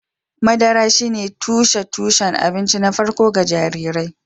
Madara shine tushen tushen abinci na farko ga jarirai